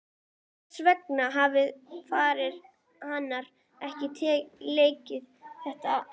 Hvers vegna hafði faðir hennar ekki leikið þetta eftir?